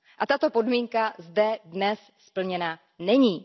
A tato podmínka zde dnes splněna není.